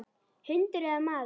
Hundur eða maður.